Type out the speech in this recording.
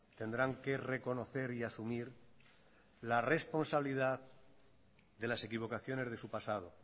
tendrán que reconocer y asumir la responsabilidad de las equivocaciones de su pasado